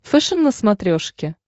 фэшен на смотрешке